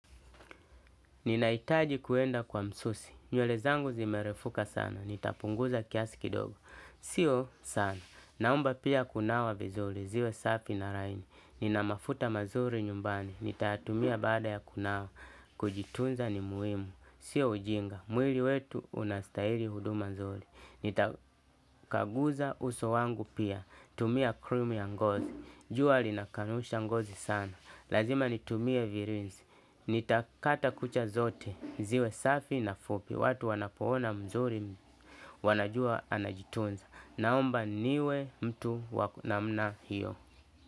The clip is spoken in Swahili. Ninahitaji kwenda kwa msusi, nywele zangu zimerefuka sana, nitapunguza kiasi kidogo sio sana, naomba pia kunawa kidogo ziwe safi na laini, nina mafuta mazuri nitayatumia baada ya kunawa kujitunza ni muhimu. Sio ujinga, mwili wetu unastahili huduma nzuri, nitakaguza uso wangu pia, tumia cream ya ngozi, jua linakanusha ngozi sana. Lazima nitumie virwins, nitakata kucha zote, ziwe safi na fupi, watu wanapoona mzuri wanajua anajitunza. Naomba niwe mtu wa ku namna hiyo.